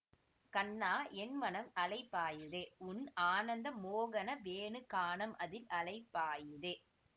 கண்ணா என் மனம் அலைபாயுதே உன் ஆனந்த மோகன வேணுகானம் அதில் அலைபாயுதே